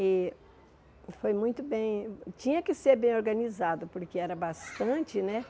E foi muito bem, tinha que ser bem organizado, porque era bastante, né?